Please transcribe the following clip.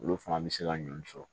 Olu fana bɛ se ka ɲɔn sɔrɔ